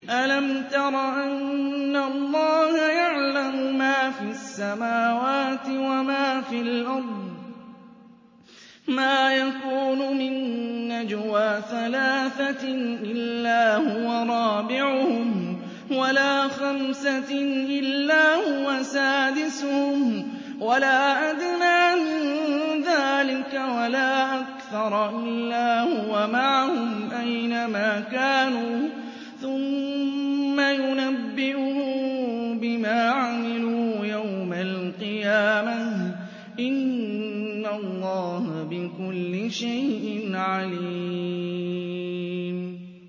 أَلَمْ تَرَ أَنَّ اللَّهَ يَعْلَمُ مَا فِي السَّمَاوَاتِ وَمَا فِي الْأَرْضِ ۖ مَا يَكُونُ مِن نَّجْوَىٰ ثَلَاثَةٍ إِلَّا هُوَ رَابِعُهُمْ وَلَا خَمْسَةٍ إِلَّا هُوَ سَادِسُهُمْ وَلَا أَدْنَىٰ مِن ذَٰلِكَ وَلَا أَكْثَرَ إِلَّا هُوَ مَعَهُمْ أَيْنَ مَا كَانُوا ۖ ثُمَّ يُنَبِّئُهُم بِمَا عَمِلُوا يَوْمَ الْقِيَامَةِ ۚ إِنَّ اللَّهَ بِكُلِّ شَيْءٍ عَلِيمٌ